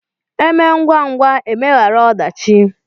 E mee ngwangwa e megharịa ọdachi